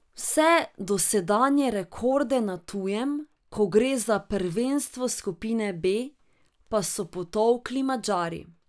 Vse dosedanje rekorde na tujem, ko gre za prvenstvo skupine B, pa so potolkli Madžari.